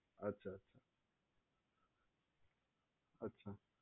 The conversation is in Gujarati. અચ્છા અચ્છા